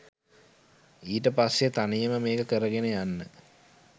ඊට පස්සේ තනියම මේක කරගෙන යන්න